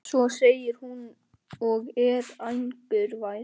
Svo segir hún og er angurvær